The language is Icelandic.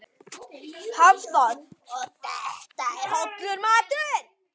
Hafþór: Og þetta er hollur matur?